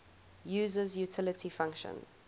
user's utility function